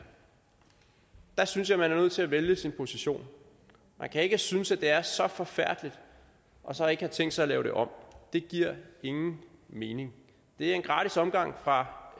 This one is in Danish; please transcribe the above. der synes jeg man er nødt til at vælge sin position man kan ikke synes at det er så forfærdeligt og så ikke have tænkt sig at lave det om det giver ingen mening det er en gratis omgang fra